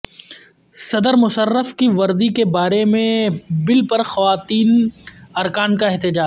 صدر مشرف کی وردی کے بارے میں بل پر خواتین ارکان کا احتجاج